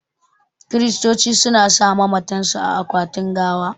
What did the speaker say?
Kiristoci su na sa mamatan su a akwatin gawa